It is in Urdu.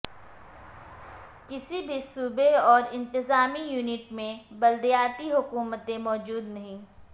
کسی بھی صوبے اور انتظامی یونٹ میں بلدیاتی حکومتیں موجود نہیں